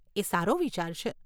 એ સારો વિચાર છે.